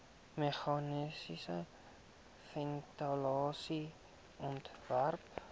meganiese ventilasie ontwerp